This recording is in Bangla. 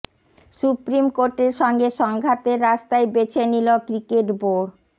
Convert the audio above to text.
সুপ্রিম কোর্টের সঙ্গে সংঘাতের রাস্তাই বেছে নিল ক্রিকেট বোর্ড